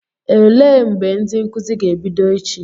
Elee mgbe ndị nkụzi ga-ebido echi?